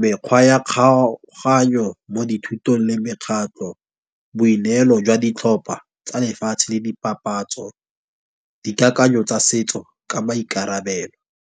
mekgwa ya kgaoganyo mo dithutong, le mekgatlo, boineelo jwa ditlhopha tsa lefatshe le dipapatso, dikakanyo tsa setso ka maikarabelo.